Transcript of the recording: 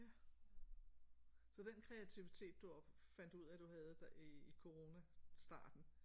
Ja så den kreativitet du op fandt ud af du havde der i coronastarten